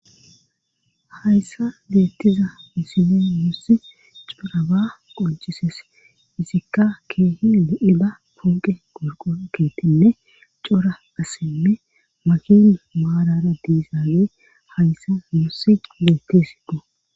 hayssa leettiza misine musi cpraba qoncises izikka keehi do7ida ponqe gorqokeetinne cora asinne makin maalara diizaawe hayssa musi leettesi do